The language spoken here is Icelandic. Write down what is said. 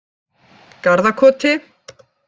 Garðakoti